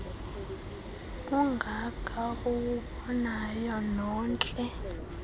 ungaka uwubonayo nontle